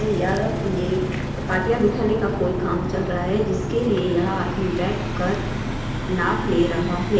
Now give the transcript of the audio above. यह ये पाटिया बिठाने का कोई काम चल रहा है जिसके लिए यह आदमी बैठ कर नाप ले रहा है।